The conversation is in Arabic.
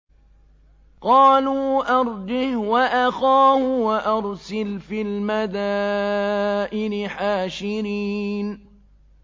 قَالُوا أَرْجِهْ وَأَخَاهُ وَأَرْسِلْ فِي الْمَدَائِنِ حَاشِرِينَ